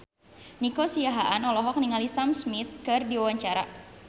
Nico Siahaan olohok ningali Sam Smith keur diwawancara